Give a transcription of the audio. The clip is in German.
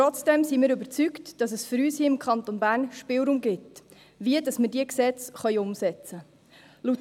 Trotzdem sind wir überzeugt, dass es für uns hier im Kanton Bern Spielraum gibt, wie wir diese Gesetze umsetzen können.